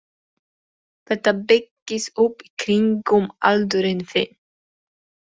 Þetta byggist upp í kringum aldurinn þinn.